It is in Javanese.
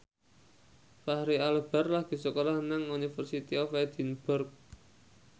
Fachri Albar lagi sekolah nang University of Edinburgh